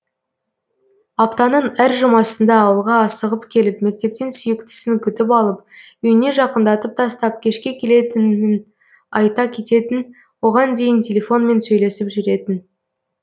аптаның әр жұмасында ауылға асығып келіп мектептен сүйіктісін күтіп алып үйіне жақындатып тастап кешке келетінін айта кететін оған дейін телефонмен сөйлесіп жүретін